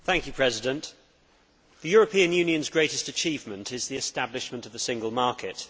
Mr President, the European Union's greatest achievement is the establishment of the Single Market.